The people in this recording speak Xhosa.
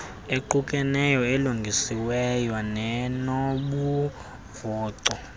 equkeneyo elungisiweyo nenobumvoco